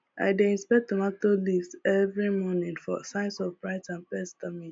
i dey inspect tomato leaves every morning for signs of blight or pest damage